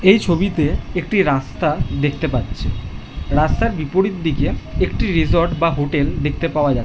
এই ছবিতে একটি রাস্তা দেখতে পাচ্ছে রাস্তার বিপরীত দিকে একটি রিসর্ট বা হোটেল দেখতে পাওয়া যা --